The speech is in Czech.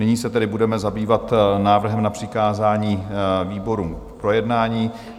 Nyní se tedy budeme zabývat návrhem na přikázání výborům k projednání.